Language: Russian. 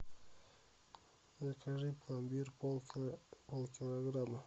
закажи пломбир полкилограмма